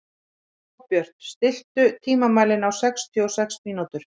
Sólbjört, stilltu tímamælinn á sextíu og sex mínútur.